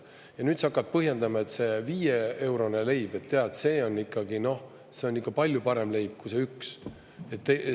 Ja nüüd sa hakkad põhjendama, et see 5-eurone leib, tead, see on ikkagi palju parem leib kui see.